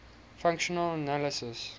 functional analysis